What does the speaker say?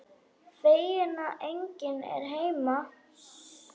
Feginn að enginn er heima.